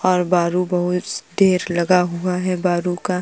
और बरु बहुत देर लगा हुआ है बरु का।